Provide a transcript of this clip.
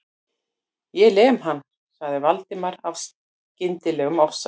Ég lem hann.- sagði Valdimar af skyndilegum ofsa